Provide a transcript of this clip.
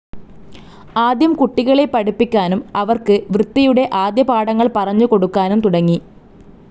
ആദ്യം കുട്ടികളെ പഠിപ്പിക്കാനും അവർക്ക് വൃത്തിയുടെ ആദ്യപാഠങ്ങൾ പറഞ്ഞു കൊടുക്കാനും തുടങ്ങി.